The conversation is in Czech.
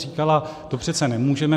Říkala: To přece nemůžeme.